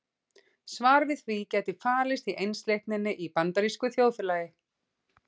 Svarið við því gæti falist í einsleitninni í bandarísku þjóðfélagi.